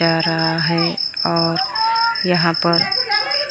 जा रहा है और यहां पर--